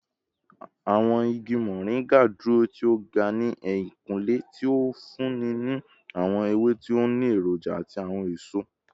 Awọn igi Moringa duro ti o ga ni ehinkunle, ti o funni ni awọn ewe ti o ni eroja ati awọn eso